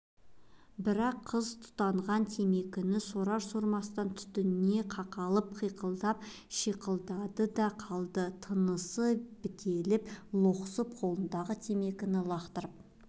бірақ қыз тұтанған темекіні сорар-сормастан түтінге қақалып қиқылдап-шиқылдады да қалды тынысы бітеліп лоқсып қолындағы темекіні лақтырып